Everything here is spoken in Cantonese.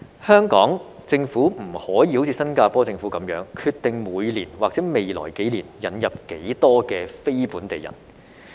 香港政府不可以像新加坡政府般決定每年或未來幾年引入多少非本地人。